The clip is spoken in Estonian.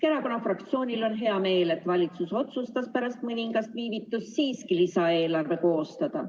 Keskerakonna fraktsioonil on hea meel, et valitsus otsustas pärast mõningast viivitust siiski lisaeelarve koostada.